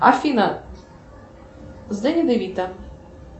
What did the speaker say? афина с дэнни де вито